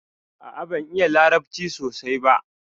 A'a, ban iya larabci sosai ɓa.